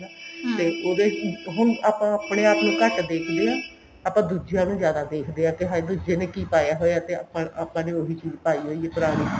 ਤੇ ਉਹਦੇ ਹੁਣ ਆਪਾਂ ਆਪਣੇ ਆਪ ਨੂੰ ਘੱਟ ਦੇਖਦੇ ਹਾਂ ਆਪਾਂ ਦੁੱਜੀਆ ਨੂੰ ਜਿਆਦਾ ਦੇਖਦੇ ਹਾਂ ਕਿ ਹਾਏ ਦੁੱਜੇ ਨੇ ਕਿ ਪਾਇਆ ਹੋਇਆ ਤੇ ਆਪਾਂ ਨੇ ਉਹੀ ਚੀਜ ਪਾਈ ਹੋਈ ਐ ਪੁਰਾਣੀ